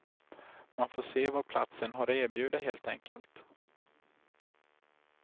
Man får se vad platsen har att erbjuda helt enkelt.